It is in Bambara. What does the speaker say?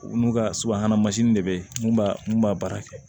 U n'u ka subahana mansin de bɛ yen b'a mun b'a baara kɛ